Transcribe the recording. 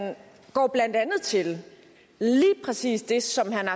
går blandt andet til lige præcis det som herre